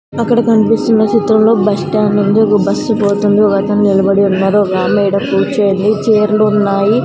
అక్కడ కనిపిస్తున్న చిత్రంలో బస్ స్టాండ్ ఉంది ఒక బస్సు పోతుంది ఒకతను నిలబడి ఉన్నాడు ఒక ఆమె ఈడ కూర్చోంది చేర్లు ఉన్నాయి.